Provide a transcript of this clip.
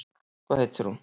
Hvað heitir hún?